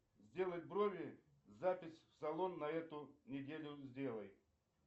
сделать брови запись в салон на эту неделю сделай